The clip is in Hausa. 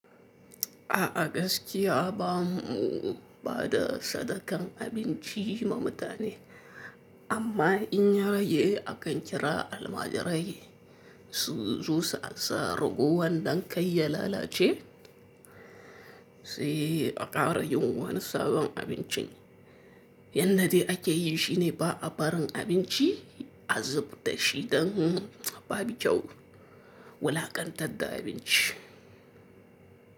A a gaskiya aba mu ba da sadakan abinci ma mutane, amma in yarage akan kira almajirai su zo su ansa ragowan don kai ya lalace, sai a ƙara yi wani sabon abincin. Yanda ake yi shine ba a barin abinci a zubda shi don ba babu kyau wulaƙantadda da abinci.